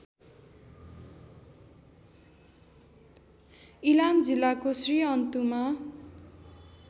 इलाम जिल्लाको श्रीअन्तुमा